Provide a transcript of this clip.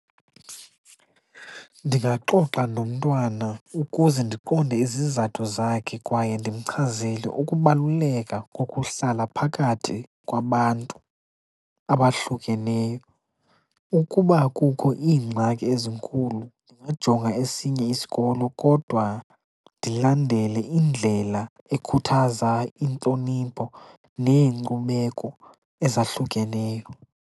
Ndingaxoxa nomntwana ukuze ndiqonde izizathu zakhe kwaye ndimchazele ukubaluleka kokuhlala phakathi kwabantu abahlukeneyo. Ukuba kukho iingxaki ezinkulu ndingajonga esinye isikolo kodwa ndilandele indlela ekhuthaza intlonipho neenkcubeko ezahlukeneyo.